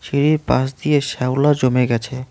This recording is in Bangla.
সিঁড়ির পাশ দিয়ে শ্যাওলা জমে গেছে।